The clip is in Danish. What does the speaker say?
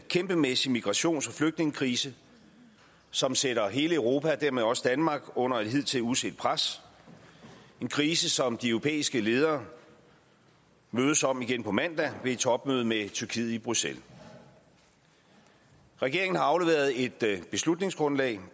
kæmpemæssig migrations og flygtningekrise som sætter hele europa og dermed også danmark under et hidtil uset pres en krise som de europæiske ledere mødes om igen på mandag ved et topmøde med tyrkiet i bruxelles regeringen har afleveret et beslutningsoplæg